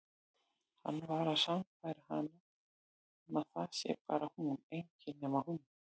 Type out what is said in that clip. Hann að sannfæra hana um að það sé bara hún, engin nema hún.